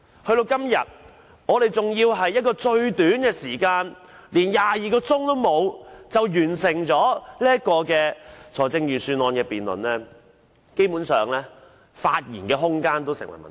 到了今天，我們更要在最短時間、不足22小時內完成預算案的辯論，基本上連發言空間也成問題。